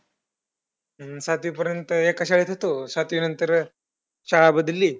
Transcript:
हा सातवीपर्यंत एक शाळेत होतो. सातवीनंतर शाळा बदलली.